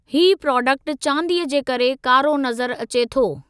हीउ प्राडेक्टु चांदीअ जे करे कारो नज़र अचे थो।